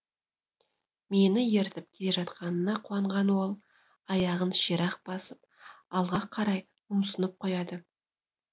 мені ертіп келе жатқанына қуанған ол аяғын ширақ басып алға қарай ұмсынып қояды